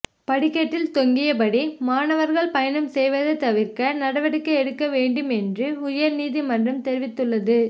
படிக்கட்டில் தொங்கியபடி மாணவர்கள் பயணம் செய்வதை தவிர்க்க நடவடிக்கை எடுக்க வேண்டும் என்று உயர்நீதிமன்றம் தெரிவித்துள்ளது